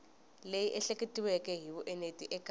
leyi ehleketiweke hi vuenti eka